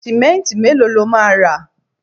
simẹnti melo lo ma ra